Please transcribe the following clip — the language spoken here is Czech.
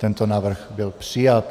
Tento návrh byl přijat.